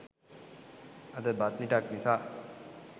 අද බත් මිටක් නිසා